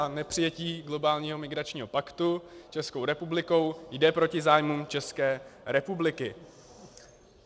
A nepřijetí globálního migračního paktu Českou republikou jde proti zájmům České republiky.